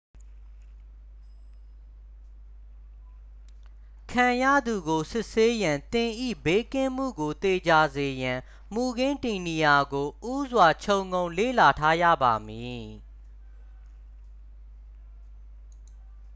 ခံရသူကို စစ်ဆေးရန် သင်၏ဘေးကင်းမှုကိုသေချာစေရန် မူခင်းတည်နေရာကို ဦးစွာခြုံငုံလေ့လာထားရပါမည်